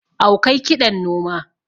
awkai kiɗan noma